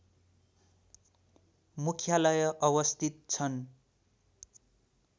मुख्यालय अवस्थित छन्